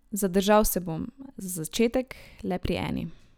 Zadržal se bom, za začetek, le pri eni.